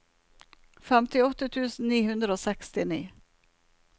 femtiåtte tusen ni hundre og sekstini